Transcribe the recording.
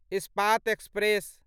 Ispat express